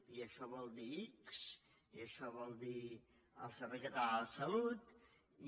i això vol dir ics i això vol dir el servei català de la salut i